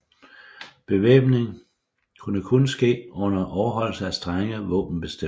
Bevæbning kunne kun ske under overholdelse af strenge våbenbestemmelser